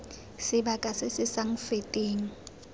sebaka se se sa feteng